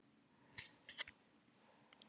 Lognið er svo mikið að stafirnir endurspeglast.